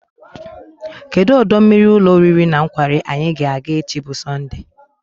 Kedụ ọdọ mmiri ụlọ oriri na nkwari anyị ga-aga echi bụ Sọndee?